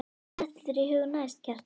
Hvað dettur þér í hug næst, Kjartan?